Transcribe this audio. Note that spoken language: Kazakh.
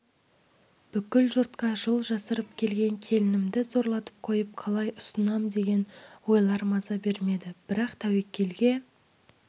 бүкіл жұртқа жыл жасырып келген келінімді зорлатып қойып қалай ұсынам деген ойлар маза бермеді бірақ тәуекелге